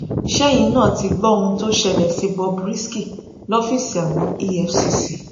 ṣẹyìn náà ti gbọ ohun tó ṣẹlẹ sí bob risky lọfíìsì àwọn efcc